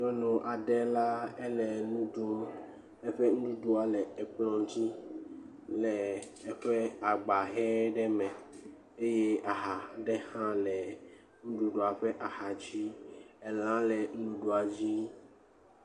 Nyɔnu aɖe la ele nu ɖum, eƒe nuɖuɖua ele ekplɔ dzi le agba ʋe ɖe me eye aha ɖe le nuɖuɖua ƒe axa dzi.